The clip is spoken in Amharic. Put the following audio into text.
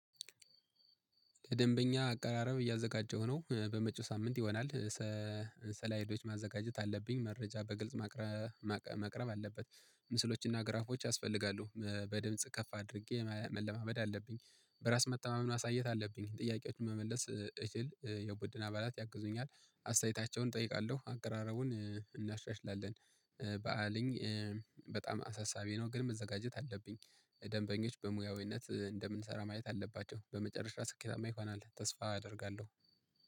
ከደንበኛ አቀራረብ እያዘጋጀው ነው፣ በመቹ ሳምንት ይወናል። ሰ-ሰላይዶች ማዘጋጀት አለብኝ፣ መረጃ በግልጽ ማቅረ-ማቅረብ አለበት። ምስሎች እና ግራፎች አስፈላጊ አሉ። በደንብ ጽከፍ አድርጌ መለማመድ አለብኝ። በራስ ማታማውን አሳየት አለብኝ። ጥያቄዎችን መመለስ እችል፣ የቡድን አባላት ያግዙኝ አለ። አሳይታቸውን ጠይቃለሁ፣ አቀራረቡን እናሻሽላለን። በአለኝ በጣም አሳሳቢ ነው፣ ግን መዘጋጀት አለብኝ። ደንበኞች በሙያዊነት እንደምንሰራ ማየት አለባቸው። በመጨረሻ ሰኬታም ይሆን አለ፣ ተስፋ አደርጋለሁ